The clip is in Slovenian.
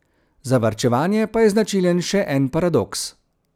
Za varčevanje pa je značilen še en paradoks.